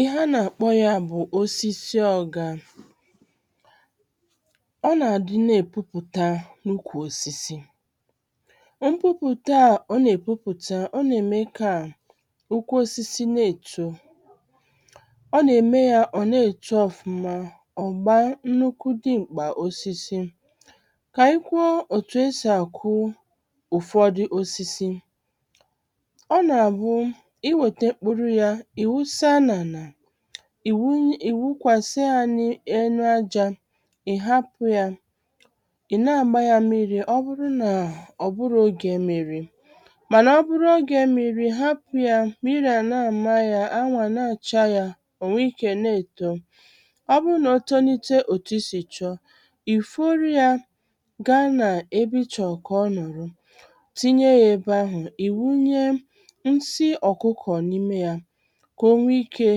ihe a nà-àkpọ ya bụ̀ osisi ọga ọ nà-àdị na-èpupụ̀ta n’ukwù osisi mpupụ̀ta a ọ nà-èpupụ̀ta ọ nà-ème ka ụkwụ osisi na-èto ọ nà-ème ya ọ̀ na-èto ọ̀fụma ọ̀ gbaa nnukwu dim̀kpà osisi kà anyị kwuo òtù esì àkụ ụ̀fọdụ osisi ọ̀ nà-àbụ i wète mkpuru yā ị̀ wụsa n’ànà ì wunye ị̀ wụkwàsa ya n’enu ajā ị̀ hapụ̄ ya ị̀ na-àgba yā mmịrị̄ ọ bụrụ nà ọ̀ bụrụ ogē mmịrị̄ mànà ọ bụrụ ogē mmịrị̄ ha hapụ̄ ya mmịrị̄ à na-àma ya awụ à na-àcha yā ò nwee ikē na-èto ọ bụrụ nà o tolite òtù isì chọọ ì foro yā gaa nà ebe ị chọ̀rọ̀ kà ọ nọ̀rọ̀ tinye ya ebe ahụ̀ ì wunye nsi ọ̀kụkọ̀ n’ime yā kà o nwee ikē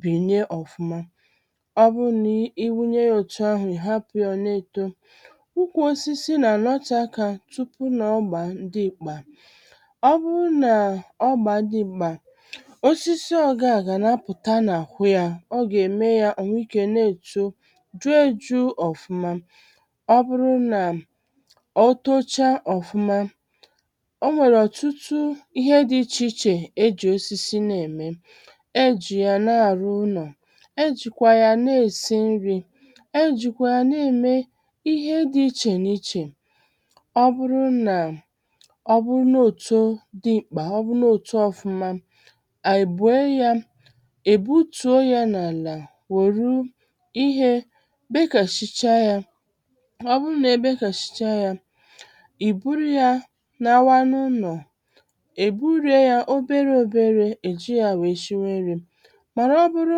bìnie ọ̀fụma ọ bụrụ nà i wunye ya òtù ahụ̀ ị̀ hapụ ya ọ̀ na-èto ukwù osisi nà-ànọte akā tupu nà ọ gbaa dim̀kpà ọ bụrụ nà ọ gbaa dim̀kpà osisi ọ̀ga gà na-apụ̀ta n’àhụ ya ọ gà-ème ya ò nwee ikē na-èto ju èju ọ̀fụma ọ bụrụ nà o tocha ọ̀fụma o nwèrè ọ̀tụtụ ihe di ichè ichè ejì osisi na-ème ejì ya na-àrụ ụnọ̀ e jìkwa ya na-èsi nrī e jìkwa ya na-ème ihe di ichè n’ichè ọ bụrụ nà ọ bụrụ̄ na o too dim̀kpà ọ bụrụ na o too ọ̀fụma ànyị̀ buo yā è butuo yā n’àlà wèru ihē bekàsịcha yā mà ọ bụrụ nà e bekàsịcha yā ì buru yā lawa n’ụnọ̀ è burie ya obere òbere è ji yā wee shiwe nrī màra ọ bụrụ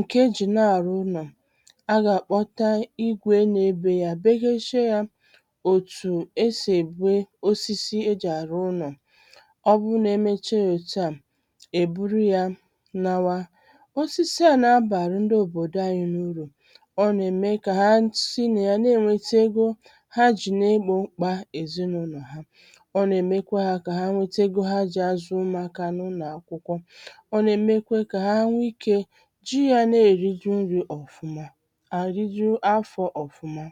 ǹkè e jì na-àrụ ụnọ̀ a gà-àkpọta igwe na-ebē ya begeshie yā òtù e sì èbe osisi ejì àrụ̄ ụnọ̀ ọ bụrụ nà emecha òtù a è buru yā lawa osisi a na-abàrụ ndị òbòdò anyị̄ urù ọ nà-ème kà ha si nà ya na-ènwete ego ha jì na-ebō mkpā èzinaụlọ̀ ha ọ nà-èmekwa ha kà ha nwete ego ha jì azụ̀ umùakā n’ụnọ̀ akwụkwọ ọ nà-èmekwe kà ha nwee ikē ji ya na-èriju nrī ọ̀fụma àrịjụ afọ̄ ọ̀fụma